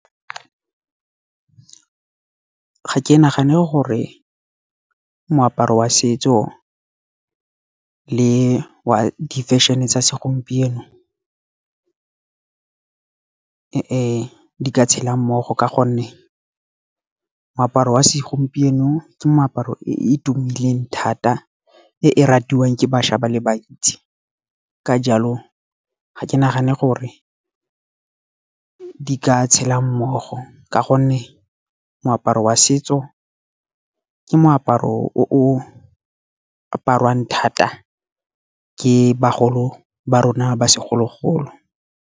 Ga ke nagane gore moaparo wa setso le wa di-fashion-e tsa segompieno, di ka tshela mmogo ka gonne, moaparo wa segompieno ke moaparo e e tumileng thata e e ratiwang ke bašwa ba le bantsi. Ka jalo ga ke nagane gore di ka tshela mmogo, ka gonne moaparo wa setso ke moaparo o o apariwang thata ke bagolo ba rona ba segologolo.